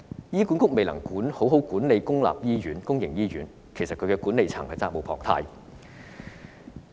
醫管局未能好好管理公營醫院，管理層責無旁貸。